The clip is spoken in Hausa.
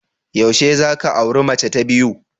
Yaushe za ka auri mace ta biyu?